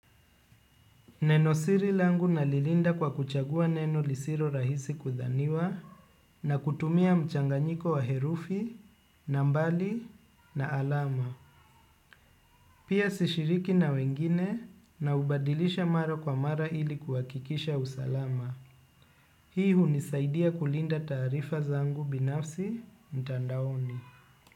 Neno siri langu nalilinda kwa kuchagua neno lisilo rahisi kudhaniwa na kutumia mchanganyiko wa herufi, nambari na alama. Pia sishiriki na wengine naubadilisha mara kwa mara ili kuhakikisha usalama. Hii hunisaidia kulinda taarifa zangu binafsi mtandaoni.